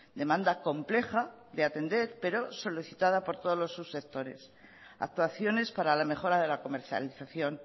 demanda compleja de atender pero solicitada por todos los subsectores actuaciones para la mejora de la comercialización